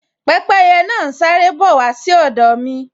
Pẹ́pẹ́yẹ náà n sáré bọ̀ wá sí ọ̀dọ̀ wa